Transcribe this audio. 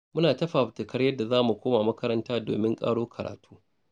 Muna ta fafutukar yadda za mu koma makaranta domin ƙaro karatu.